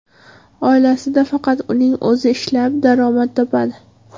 Oilasida faqat uning o‘zi ishlab, daromad topadi.